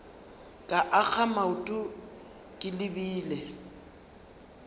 ka akga maoto ke lebile